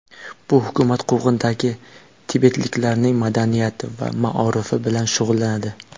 Bu hukumat quvg‘indagi tibetliklarning madaniyati va maorifi bilan shug‘ullanadi.